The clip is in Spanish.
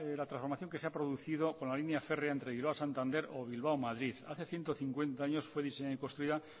la transformación que se ha producido con la línea férrea entre bilbao santander o bilbao madrid hace ciento cincuenta años fue diseñada y construida